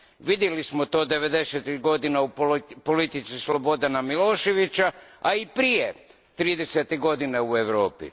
Vidjeli smo to devedesetih godina u politici Slobodana Miloševića, a i prije, tridesetih godina u Europi.